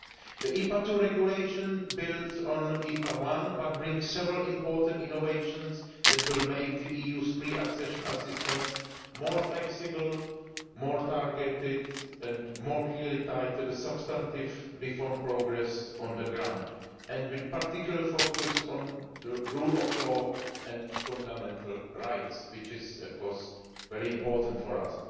The IPA II regulation builds on IPA I, but brings about several important innovations that will make the EU's pre accession assistance more flexible, more targeted and more clearly tied to the substantive reform progress on the ground, with particular focus on the rule of law and fundamental rights which is of course very important to us.